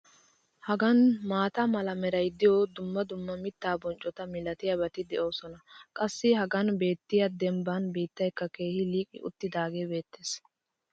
hagan maata mala meray diyo dumma dumma mitaa bonccota malatiyaabati de'oosona. qassi hagan beettiya dembba biittaykka keehi liiqi uttidaagee beetees.